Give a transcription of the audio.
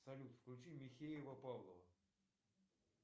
салют включи михеева павлова